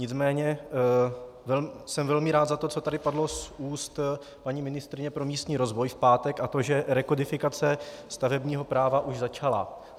Nicméně jsem velmi rád za to, co tady padlo z úst paní ministryně pro místní rozvoj v pátek, a to že rekodifikace stavebního práva už začala.